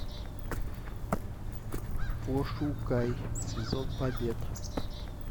пошукай сезон побед